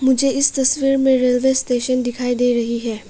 मुझे इस तस्वीर में रेलवे स्टेशन दिखाई दे रही है।